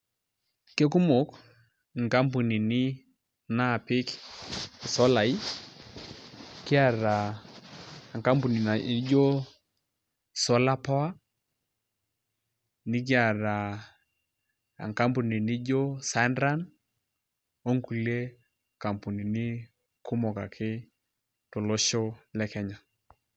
Kekumok nkamounini naapik isolaai kiata enkampuni naijio Solar power nikiata enkampuni nijio Sunrun onkulie kampunini kumok ake tolosho le Kenya.